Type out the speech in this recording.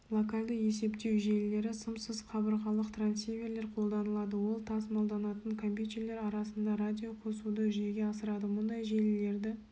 локальды есептеу желілері сымсыз қабырғалық трансиверлер қолданылады ол тасымалданатын компьютерлер арасында радиоқосуды жүзеге асырады мұндай желілерді